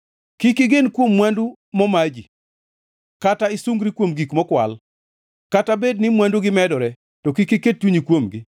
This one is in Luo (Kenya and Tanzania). Kik igen kuom mwandu moma ji kata isungri kuom gik mokwal; kata bed ni mwandugi medore to kik iket chunyi kuomgi.